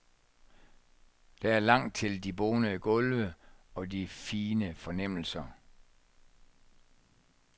Der er langt til de bonede gulve og de fine fornemmelser.